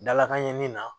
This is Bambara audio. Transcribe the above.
Dalakan ɲɛnini na